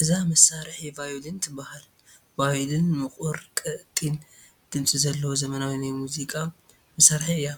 እዛ መሳርሒ ቫዮሊን ትበሃል፡፡ ቫዮሊን ምቑር ቀጢን ድምፂ ዘለዋ ዘመናዊ ናይ ሙዚቃ መሳርሒ እያ፡፡